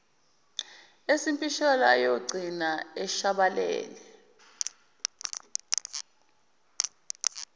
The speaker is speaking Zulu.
esimpisholo ayogcina eshabalele